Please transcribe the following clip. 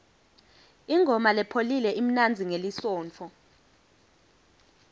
ingoma lepholile imnanzi ngelisontfo